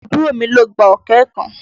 Àbúrò mi ló gba ọ̀kẹ́ kan.